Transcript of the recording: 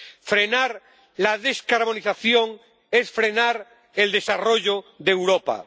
Frenar la descarbonización es frenar el desarrollo de Europa.